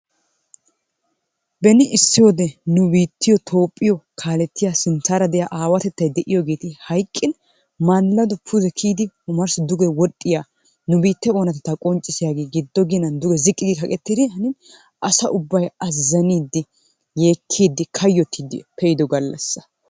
Beni issi wode nu biittiyo Toophphiyo kaalettiyaa sintaara diya aawatettay de'iyogeeti hayqqin malaaddo pude kiyidi omarsssi duge woxxiya nu biittee oonatetta qonccissiyagee giddo ginan duge ziqqi kaqqettidi hanin asaa ubba azzaniidi yeekkidi kayyottiidi pe'iddo gallassa.